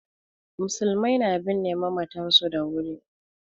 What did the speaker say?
Musulmai na binne mamatan su da wuri